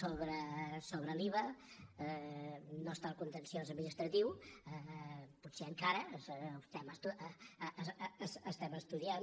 sobre l’iva no està al contenciós administratiu potser encara ho estem estudiant